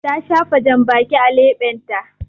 Ta shafa jambaki a leɓenta.